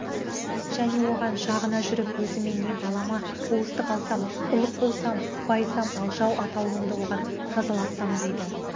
және оған жағына жүріп өзіме не балама болыстық алсам ұлық болсам байысам ал жау атаулымды оған жазалатсам дейді